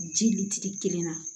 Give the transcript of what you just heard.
Ji litiri kelen na